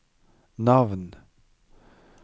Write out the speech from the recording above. navn